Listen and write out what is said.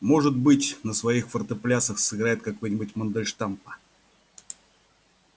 может быть на своих фортеплясах сыграет какой-нибудь мендельштама